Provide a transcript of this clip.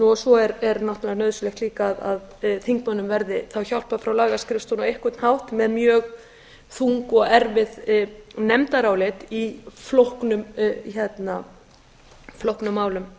og svo er náttúrlega nauðsynlegt líka að þingmönnum verði þá hjálpað frá lagaskrifstofunni á einhvern hátt með mjög þung og erfið nefndarálit í flóknum málum